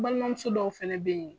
Balimamuso dɔw fɛnɛ bɛ yen.